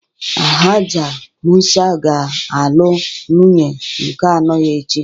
Alhaja Mụsa ga-alụ nwunye nke anọ ya echi